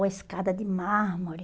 Uma escada de mármore.